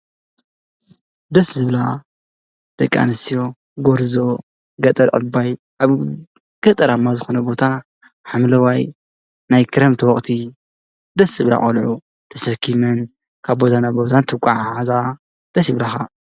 ደስ ዝብላካ ደቂ አንስትዮ ጎርዞ ገጠር ዕባይ አብ ገጠራማ ዝኮነ ቦታ ሓምለዋይ ናይ ክረምቲ ወቅቲ ደስ ዝብላ ቆልዑ ተሰኪመን ካብ ቦታ ናብ ቦታ እንትጎዓዓዛ ደስ ይብላካ ።